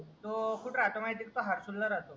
तो कुठं राहतो माहितीये का तो आरसूलला राहतो.